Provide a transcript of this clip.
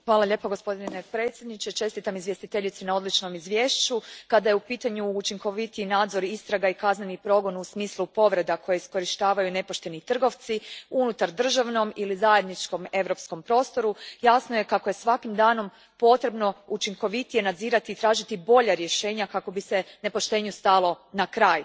Gospodine predsjedniče, kada je u pitanju učinkovitiji nadzor istraga i kazneni progon u smislu povreda koje iskorištavaju nepošteni trgovci u unutardržavnom ili zajedničkom europskom prostoru jasno je kako je svakim danom potrebno učinkovitije nadzirati i tražiti bolja rješenja kako bi se nepoštenju stalo na kraj.